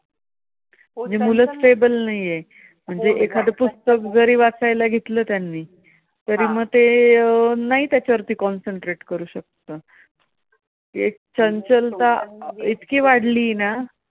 म्हणजे एखादी पुस्तक जरी वाचायला घेतलं, आह त्यांनी तरी मग अं ते नाही त्याच्यावरती concentrate करू शकत. जे एक चंचलता इतकी वाढली ना